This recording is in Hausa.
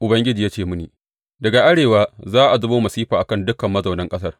Ubangiji ya ce mini, Daga arewa za a zubo masifa a kan dukan mazaunan ƙasar.